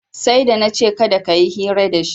Sai da na ce kada ka yi hira dashi